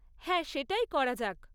হ্যাঁ, সেটাই করা যাক।